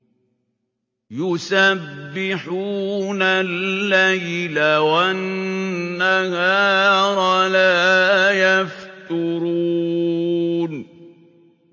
يُسَبِّحُونَ اللَّيْلَ وَالنَّهَارَ لَا يَفْتُرُونَ